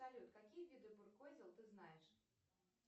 салют какие виды буркозел ты знаешь